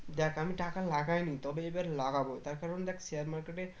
দেখ আমি টাকা লাগাইনি তবে এবার লাগাবো তার কারণ দেখ share market এ